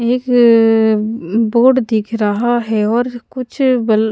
एक अअअ म बोर्ड दिख रहा है और कुछ बल --